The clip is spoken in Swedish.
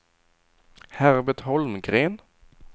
Herbert Holmgren